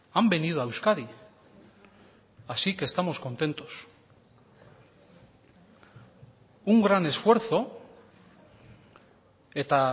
han venido a euskadi así que estamos contentos un gran esfuerzo eta